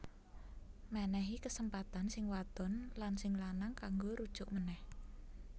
Mènèhi kesempatan sing wadon lan sing lanang kanggo rujuk ménèh